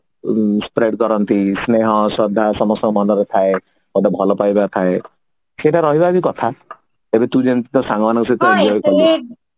spread କରନ୍ତି ସ୍ନେହ ଶ୍ରଦ୍ଧା ସମସ୍ତଙ୍କ ମନରେ ଥାଏ ଗୋଟେ ଭଲ ପାଇବା ଥାଏ ସେଇଟା ରହିବା ବି କଥା ଯଦି ତୁ ଯେମିତି ତୋ ସାଙ୍ଗ ମାନଙ୍କ ସହିତ